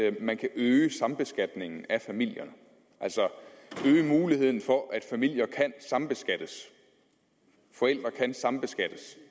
at man kan øge sambeskatningen af familier altså øge muligheden for at familier kan sambeskattes at forældre kan sambeskattes